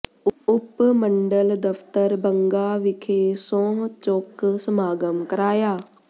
ਉਪ ਮੰਡਲ ਦਫ਼ਤਰ ਬੰਗਾ ਵਿਖੇ ਸਹੁੰ ਚੁੱਕ ਸਮਾਗਮ ਕਰਾਇਆ